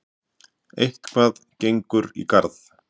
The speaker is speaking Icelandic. Eitthvað gengur í garð